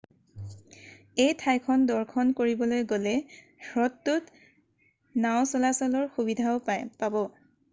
এই ঠাইখন দৰ্শন কৰিবলৈ গ'লে হ্ৰদটোত নাও চলাচলৰ সুবিধাও পাব